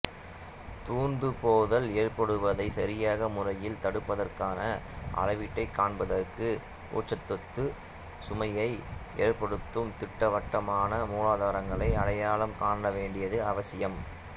தூர்ந்துபோதல் ஏற்படுவதை சரியான முறையில் தடுப்பதற்கான அளவீட்டைக் காண்பதற்கு ஊட்டச்சத்து சுமையை ஏற்படுத்தும் திட்டவட்டமான மூலாதாரங்களை அடையாளம் காணவேண்டியது அவசியம்